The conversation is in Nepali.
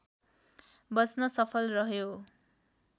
बच्न सफल रह्यो